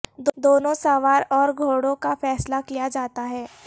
دونوں سوار اور گھوڑوں کا فیصلہ کیا جاتا ہے